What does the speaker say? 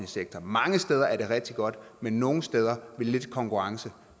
sektor mange steder er det rigtig godt men nogle steder ville lidt konkurrence